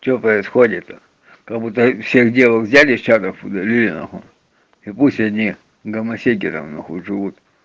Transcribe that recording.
что происходит то как будто всех девок взяли из чатов удалили нахуй и пусть одни гомосеки нахуй живут